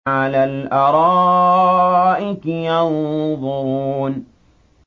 عَلَى الْأَرَائِكِ يَنظُرُونَ